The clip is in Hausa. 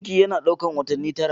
Ciki yana ɗaukar watanni tara.